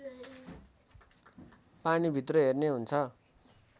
पानीभित्र हेर्ने हुन्छ